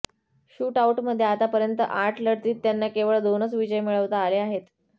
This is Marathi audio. शूट आउटमध्ये आतापर्यंत आठ लढतीत त्यांना केवळ दोनच विजय मिळविता आले आहेत